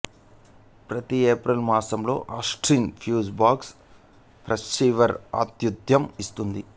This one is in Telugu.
ప్రతి ఏప్రిల్ మాసంలో ఆస్టిన్ ఫ్యూజ్ బాక్స్ ఫెస్టివల్ ఆతుథ్యం ఇస్తుంది